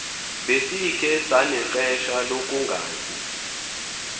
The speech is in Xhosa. besikhe sanexesha lokungazi